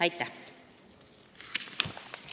Aitäh!